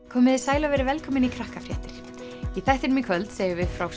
komiði sæl og verið velkomin í Krakkafréttir í þættinum í kvöld segjum við frá